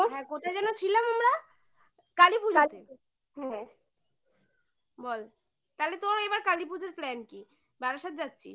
হ্যাঁ কোথায় যেন ছিলাম আমরা? কালীপূজাতে হ্যাঁ বল তাহলে তোরও এবার কালীপূজার plan কি? বারাসাত যাচ্ছিস?